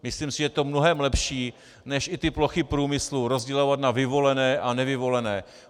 Myslím si, že je to mnohem lepší než i ty plochy průmyslu rozdělovat na vyvolené a nevyvolené.